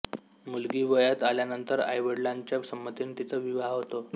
मुलगी वयात आल्यानंतर आईवडलांच्या संमतीने तिचा विवाह होतो